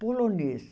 Polonês.